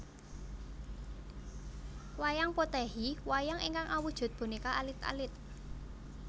Wayang Potèhi Wayang ingkang awujud bonéka alit alit